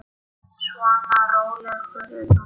Svona, rólegur nú.